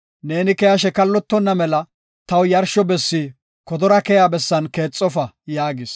Neeni keyashe kallotonna mela taw yarsho bessi kodora keyiya bessan keexofa’ ” yaagis.